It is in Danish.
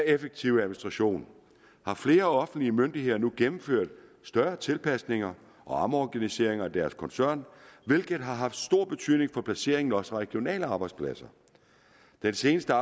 effektiv administration har flere offentlige myndigheder nu gennemført større tilpasninger og omorganiseringer af deres koncern hvilket har haft stor betydning for placering af også regionale arbejdspladser den seneste